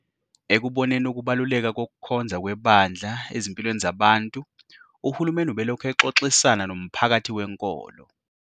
Ekuboneni ukubaluleka kokukhonza kwebandla ezimpilweni zabantu, uhulumeni ubelokhu exoxisana nomphakathi wenkolo.